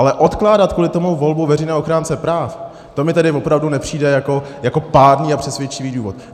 Ale odkládat kvůli tomu volbu veřejného ochránce práv, to mi tedy opravdu nepřijde jako pádný a přesvědčivý důvod.